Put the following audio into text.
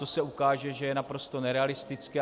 To se ukáže, že je naprosto nerealistické.